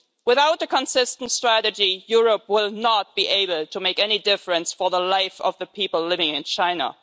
Without a consistent strategy, Europe will not be able to make any difference to the life of the people living in China.